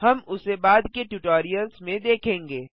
हम उसे बाद के ट्यूटोरियल्स में देखेंगे